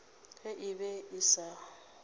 ge e be e sa